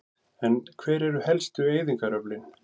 En hver eru helstu eyðingaröflin?